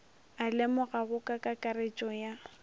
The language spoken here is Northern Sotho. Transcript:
a lemogwago ka kakaretšo ya